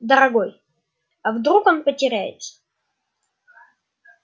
дорогой а вдруг он потеряется